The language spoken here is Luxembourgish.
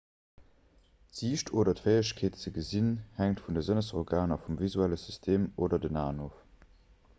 d'siicht oder d'fäegkeet ze gesinn hänkt vun de sënnesorganer vum visuelle system oder den aen of